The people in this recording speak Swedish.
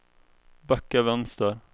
backa vänster